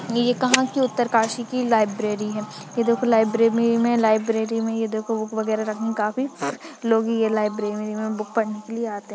ये कहाँ की उत्तरकाशी की लाइब्रेरी है यह देखो लाइब्रेरी में लाइब लाइब्रेरी में ये देखो बुक वगैरा रखना काफी लोग यह लाइब्रेरी मैं बुक पढ़ने के लिए आते हैं।